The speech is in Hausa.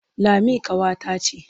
Lami ƙawata ce.